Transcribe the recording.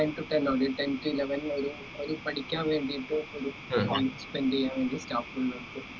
nine to ten only ten to eleven ലിൽ ഒരു ഒരു പഠിക്കാൻ വേണ്ടീട്ട് ഒരു confident ന് വേണ്ടി staff നെ നിർത്തി